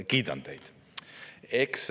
Kiidan teid!